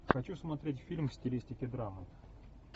хочу смотреть фильм в стилистике драмы